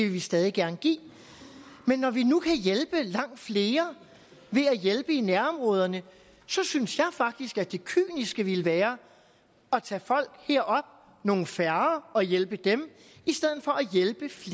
vi stadig gerne give men når vi nu kan hjælpe langt flere ved at hjælpe i nærområderne synes jeg faktisk det kyniske ville være at tage folk herop nogle færre og hjælpe dem